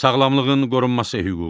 Sağlamlığın qorunması hüququ.